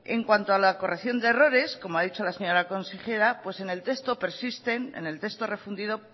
en cuanto a la corrección de errores como ha dicho la señora consejera en el texto refundido